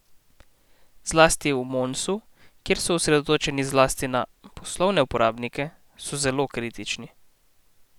Zlasti v Monsu, kjer so osredotočeni zlasti na poslovne uporabnike, so zelo kritični.